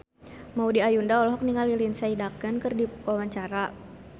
Maudy Ayunda olohok ningali Lindsay Ducan keur diwawancara